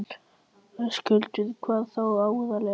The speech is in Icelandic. Höskuldur: Hvað þá aðallega?